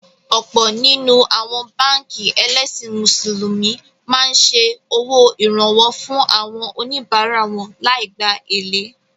Ọ̀pọ̀ nínú àwọn báànkì ẹlẹ́sìn Mùsùlùmí máa ń ṣe owó Ìrànwọ́ fún àwọn oníbárá wọn lai gbá èlé